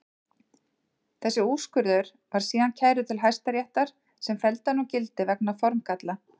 Þessi úrskurður var síðan kærður til Hæstaréttar sem felldi hann úr gildi vegna formgalla.